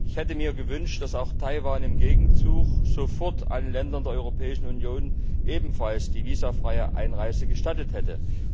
Ich hätte mir gewünscht, dass Taiwan auch im Gegenzug sofort allen Bürgern der Europäischen Union ebenfalls die visafreie Einreise gestattet hätte.